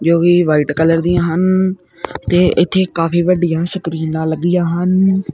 ਜੋ ਕਿ white colour ਦੀਆਂ ਹਨ ਤੇ ਇੱਥੇ ਕਾਫੀ ਵੱਡੀਆ ਸਕਰੀਨਾਂ ਲੱਗੀਆਂ ਹਨ।